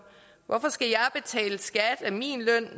hvorfor skal jeg betale skat